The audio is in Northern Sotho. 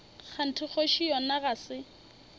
kganthe kgoši yona ga se